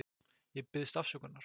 Ég biðst afsökunar.